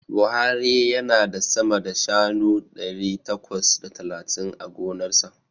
Buhari yana da sama da shanu ɗari takwas da talatin a gonarsa.